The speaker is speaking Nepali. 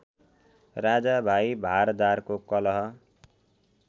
राजा भाइ भारदारको कलह